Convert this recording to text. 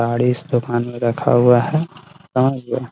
साड़ी इस दुकान मे रखा हुआ है और --